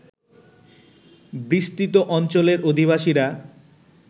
বিস্তৃত অঞ্চলের অধিবাসীরা